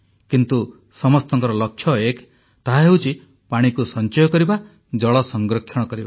କିନ୍ତୁ ସମସ୍ତଙ୍କ ଲକ୍ଷ୍ୟ ଏକ ତାହା ହେଉଛି ପାଣିକୁ ସଞ୍ଚୟ କରିବା ଜଳ ସଂରକ୍ଷଣ କରିବା